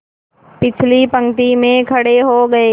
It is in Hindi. पिछली पंक्ति में खड़े हो गए